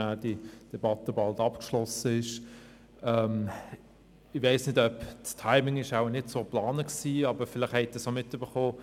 Das Timing war wohl nicht so geplant, aber vielleicht haben Sie es auch mitbekommen: